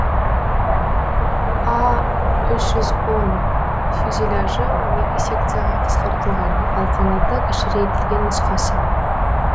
а үш жүз он фюзеляжы он екі секцияға қысқартылған ал қанаты кішірейтілген нұсқасы